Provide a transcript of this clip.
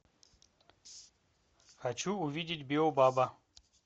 хочу увидеть биобаба